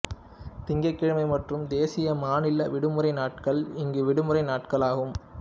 திங்கட்கிழமை மற்றும் தேசிய மாநில விடுமுறை நாட்கள் இங்கு விடுமுறை நாட்களாகும்